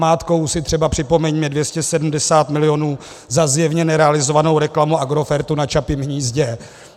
Namátkou si třeba připomeňme 270 milionů za zjevně nerealizovanou reklamu Agrofertu na Čapím hnízdě.